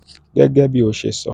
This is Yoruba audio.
um gẹ́gẹ́ bí ó ṣe sọ: um